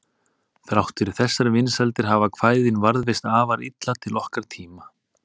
Þrátt fyrir þessar vinsældir hafa kvæðin varðveist afar illa til okkar tíma.